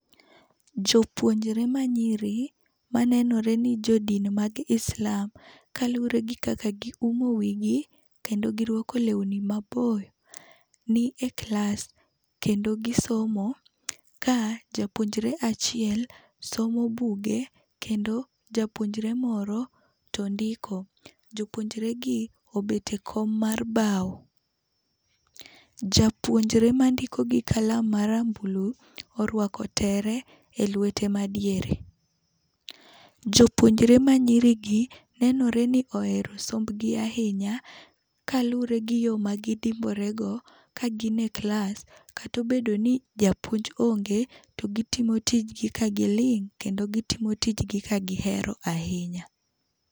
Jopuonjre manyiri manenore ni jodin mag Islam kaluwore gi kaka gi umo wigi, kendo girwako lewni maboyo, ni e klas kendo gisomo. Ka japuonjre achiel somo buge kendo japuonjre moro to ndiko. Jopuonjregi obet ekom mar bao. Japuonjre mandiko gi kalam marambulu, orwako tere elwete madiere. Jopuonjre manyiri gi, nenore ni ohero sombgi ahinya kaluwore gi yoo magidimborego ka gin e klas kata obedo ni japuonj onge to gitimo tijgi ka giling' kendo gitimo tijgi ka gihero ahinya.